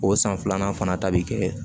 O san filanan fana ta bi kɛ